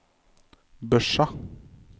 Børsa